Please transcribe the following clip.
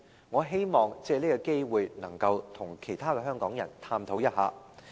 我希望藉此機會與香港人探討一下。